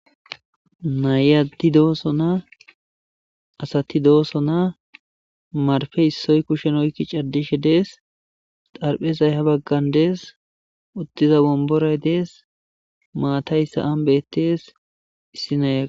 Nayati doosona asati doosona marfe issoy kushen oykki cardishe dees Xarphezay ha baggan dees uttiza womboray dees maatayssa an bettees issi naya